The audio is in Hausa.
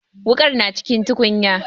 Wuƙar na cikin tukunya.